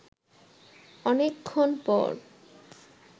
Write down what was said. অনেকক্ষণ পর